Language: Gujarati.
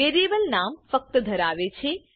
વેરિએબલ નામ ફક્ત ધરાવે છે